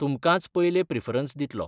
तुमकांच पयलें प्रिफरन्स दितलो.